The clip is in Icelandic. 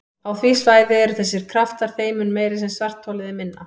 Á því svæði eru þessir kraftar þeim mun meiri sem svartholið er minna.